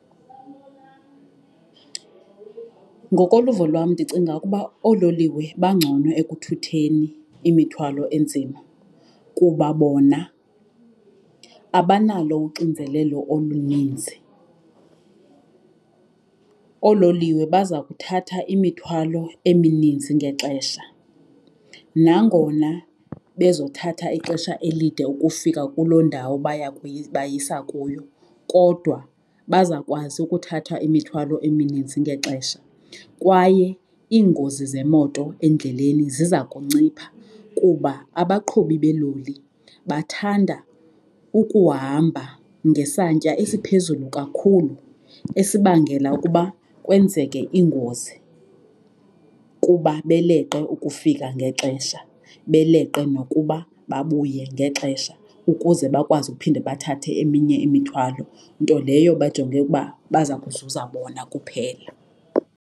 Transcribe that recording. Ngokoluvo lwam ndicinga ukuba oololiwe bangcono ekuthutheni imithwalo enzima kuba bona abanalo uxinzelelo oluninzi. Oololiwe baza kuthatha imithwalo emininzi ngexesha nangona bezothatha ixesha elide ukufika kuloo ndawo baya bayisa kuyo kodwa baza kwazi ukuthatha imithwalo eminintsi ngexesha. Kwaye iingozi zemoto endleleni ziza kuncipha kuba abaqhubi beeloli bathanda ukuhamba ngesantya esiphezulu kakhulu esibangela ukuba kwenzeke iingozi kuba beleqe ukufika ngexesha, beleqe nokuba babuye ngexesha ukuze bakwazi uphinde bathathe eminye imithwalo. Nto leyo bajonge ukuba baza kuzuza bona kuphela.